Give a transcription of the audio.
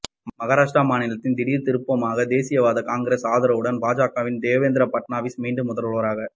மகாராஷ்டிர மாநிலத்தில் திடீர் திருப்பமாக தேசியவாத காங்கிரஸ் ஆதரவுடன் பாஜகவின் தேவேந்திர பட்னாவிஸ் மீண்டும் முதல்வராக